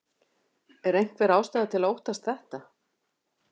Er einhver ástæða til að óttast þetta?